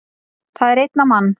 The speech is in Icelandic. Það er einn á mann